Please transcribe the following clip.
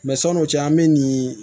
Mɛ sɔn'o cɛ an bɛ nin